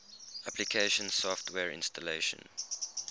application software installation